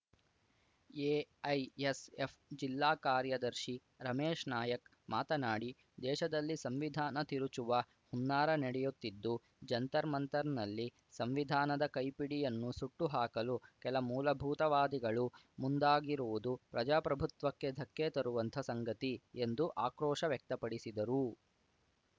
AISF ಜಿಲ್ಲಾ ಕಾರ್ಯದರ್ಶಿ ರಮೇಶ್ ನಾಯಕ್ ಮಾತನಾಡಿ ದೇಶದಲ್ಲಿ ಸಂವಿಧಾನ ತಿರುಚುವ ಹುನ್ನಾರ ನಡೆಯುತ್ತಿದ್ದು ಜಂತರ್‌ ಮಂತರ್‌ನಲ್ಲಿ ಸಂವಿಧಾನದ ಕೈಪಿಡಿಯನ್ನು ಸುಟ್ಟು ಹಾಕಲು ಕೆಲ ಮೂಲಭೂತವಾದಿಗಳು ಮುಂದಾಗಿರುವುದು ಪ್ರಜಾಪ್ರಭುತ್ವಕ್ಕೆ ಧಕ್ಕೆ ತರುವಂಥ ಸಂಗತಿ ಎಂದು ಆಕ್ರೋಶ ವ್ಯಕ್ತಪಡಿಸಿದರು